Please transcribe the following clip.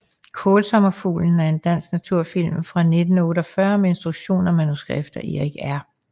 Kaalsommerfuglen er en dansk naturfilm fra 1948 med instruktion og manuskript af Erik R